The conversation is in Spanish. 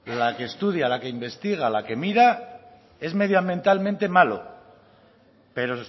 la que estudia la que investiga la que mira es medioambientalmente malo pero